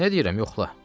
Nə deyirəm yoxla.